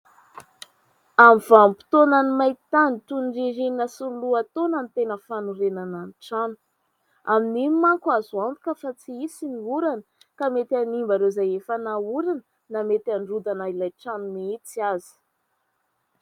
Amin' ny vanim-potoana ny main-tany toy ny ririnina sy lohataona ny tena fanorenana ny trano ; amin' iny manko azo antoka fa tsy hisy ny orana ka mety hanimba ireo izay efa naorina na mety androdana ilay trano mihitsy aza.